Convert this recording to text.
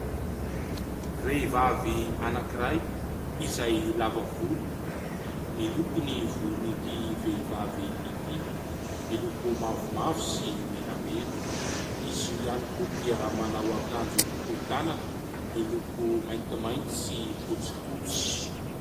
Vehivavy anankiray izay lava volo. Miloko ny volon'ity vehivavy ity, miloko mavomavo sy menamena. Izy io ihany koa dia manao akanjo fohy tanana miloko maintimainty sy fotsifotsy.